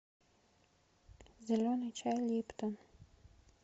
зеленый чай липтон